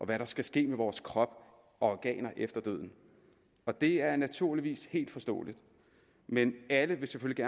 hvad der skal ske med vores krop og organer efter døden og det er naturligvis helt forståeligt men alle vil vi selvfølgelig